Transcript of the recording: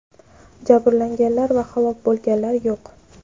Jabrlanganlar va halok bo‘lganlar yo‘q.